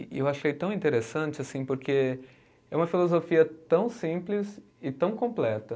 E eu achei tão interessante assim, porque é uma filosofia tão simples e tão completa.